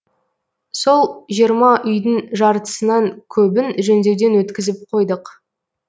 сол жиырма үйдің жартысынан көбін жөндеуден өткізіп қойдық